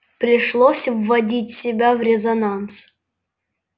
пришлось вводить себя в резонанс